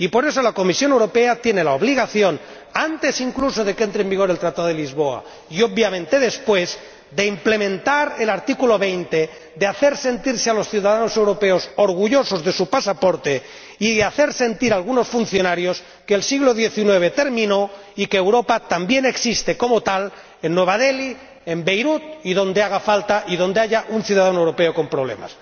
Y, por eso, la Comisión Europea tiene la obligación, antes incluso de que entre en vigor el Tratado de Lisboa y, obviamente, después, de implementar el artículo 20, de hacer sentirse a los ciudadanos europeos orgullosos de su pasaporte y de hacer sentir a algunos funcionarios que el siglo xix terminó y que Europa también existe como tal, en Nueva Delhi, en Beirut y donde haga falta, y donde haya un ciudadano europeo con problemas.